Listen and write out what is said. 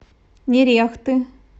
нерехты